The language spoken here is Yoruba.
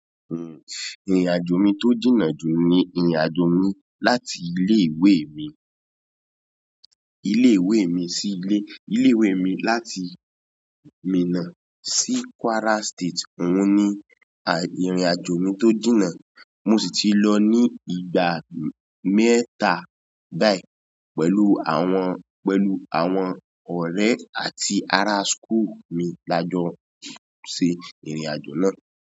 Ehn, ìrìn-àjò mi tó jìnnà jù ni ìrìn-àjò mi láti ilé-ìwé mi, ilé-ìwé mi sí ilé, ilé-ìwé mi láti Minna sí Kwara State. Ohun ni ìrìn-àjò mi tó jìnnà. Mo sì ti lọ ní ìgbà mẹ́ta báyìí pẹ̀lú àwọn, pẹ̀lú àwọn ọ̀rẹ́ àti ará school mi lajọ ṣe ìrìn-àjò náà.